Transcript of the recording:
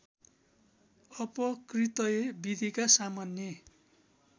अपकृतय विधिका सामान्य